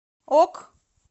ок